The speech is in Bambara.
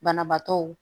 Banabaatɔw